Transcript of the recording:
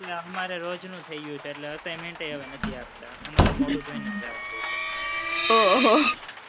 આ અમારે રોજનું થઇ ગયું છે, એટલે assignment ય હવે નથી આપતા. અમારું મોઢું જોઈને જ જવા દે છે.